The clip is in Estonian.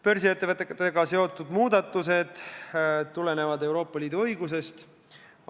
Börsiettevõtetega seotud muudatused tulenevad Euroopa Liidu õigusest.